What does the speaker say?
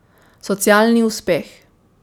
Socialni uspeh.